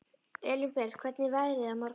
Elínbet, hvernig er veðrið á morgun?